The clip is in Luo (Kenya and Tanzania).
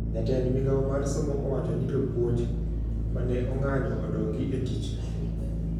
Jatend migao mar somo owacho ni jopuoj mane ong`anyo odogi e tich